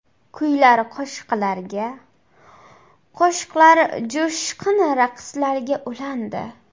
Kuylar qo‘shiqlarga, qo‘shiqlar jo‘shqin raqslarga ulandi.